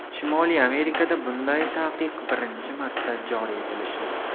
Shimoliy Amerikada bunday taqiq birinchi marta joriy etilishi.